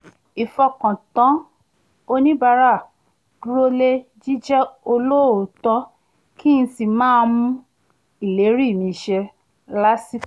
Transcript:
ìfọkàntán oníbàárà dúróle jíjẹ́ olóòótọ́ kí n sì máa mú ìlérí mi ṣẹ lásìkò